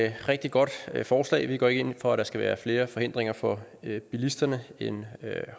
et rigtig godt forslag vi går ikke ind for at der skal være flere forhindringer for bilisterne end